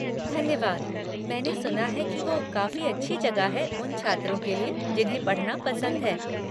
धन्यवाद, मैंने सुना है कि वो काफ़ी अच्छी जगह है उन छात्रों के लिए जिन्हें पढ़ना पसंद है।